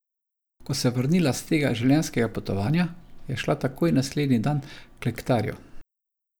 Ko se je vrnila s tega življenjskega potovanja, je šla takoj naslednji dan k Lectarju.